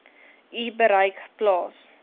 u bereik plaas